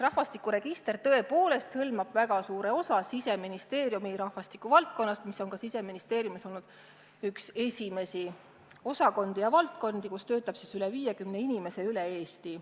Rahvastikuregister tõepoolest hõlmab väga suure osa Siseministeeriumi rahvastikuvaldkonnast, mis on Siseministeeriumis olnud üks esimesi osakondi, kus töötab rohkem kui 50 inimest üle Eesti.